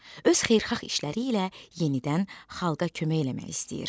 Öz xeyirxah işləri ilə yenidən xalqa kömək eləmək istəyir.